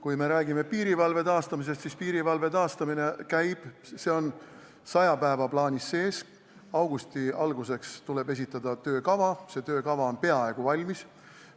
Kui me räägime piirivalve taastamisest, siis piirivalve taastamine käib, see on saja päeva plaanis sees, augusti alguseks tuleb esitada töökava, see töökava on peaaegu valmis.